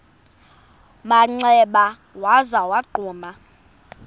manxeba waza wagquma